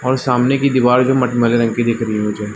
और सामने की दिवार भी मटमैले रंग की दिख रही हैं मुझे --